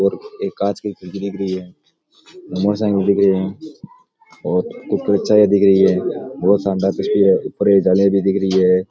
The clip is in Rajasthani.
और एक कांच की खिड़की दिख रही है मोटर साइकिल दिख री है और ऊपर चाय दिख रही है बोहोत शानदार तस्वीर है ऊपर जालिया भी दिख रही है।